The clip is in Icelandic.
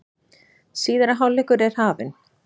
Síðari hálfleikur er hafinn